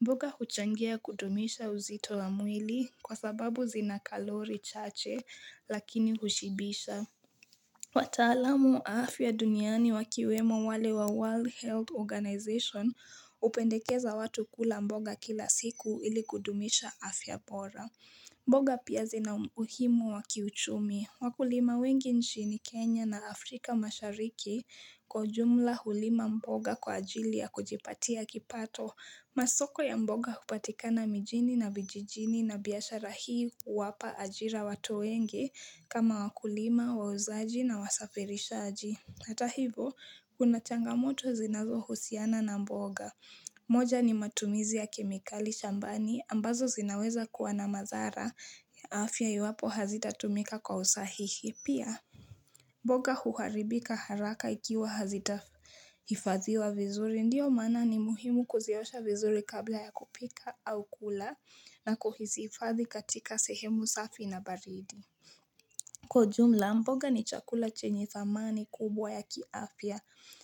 mboga huchangia kudumisha uzito wa mwili kwa sababu zina kalori chache lakini hushibisha. Wata alamu afya duniani wakiwemo wale wa World Health Organization upendekeza watu kula mboga kila siku ili kudumisha afya bora mboga piaze na uhimu wakiuchumi Wakulima wengi njini Kenya na Afrika mashariki kujumla hulima mboga kwa ajili ya kujipatia kipato Masoko ya mboga upatika na mijini na bijijini na biyashara hii wapa ajira watu wenge kama wakulima, wauzaji na wasafirishaji. Atahivo, unachangamoto zinazo husiana na mboga. Moja ni matumizi ya kemikali shambani ambazo zinaweza kuwana mazara. Afia yuapo hazitatumika kwa usahihi. Pia mboga huharibika haraka ikiwa hazitatifazi wa vizuri. Ndiyo mana ni muhimu kuziosha vizuri kabla ya kupika au kula na kuhizifadhi katika sehemu safi na baridi. Kwa jumla, mboga ni chakula chenye zamani kubwa ya kiafya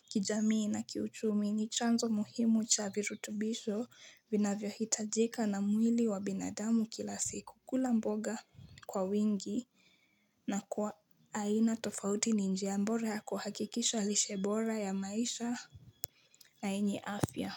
kijamii na kiuchumi ni chanzo muhimu chavirutubisho vina vyohitajika na mwili wa binadamu kila siku. Kula mboga kwa wingi na kwa aina tofauti ninjia mbora ya kuhakikisha lishebora ya maisha na inyiafya.